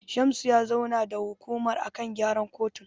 Shamsu ya zauna da hukumar a kan gyaran kotun.